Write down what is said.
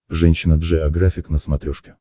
женщина джеографик на смотрешке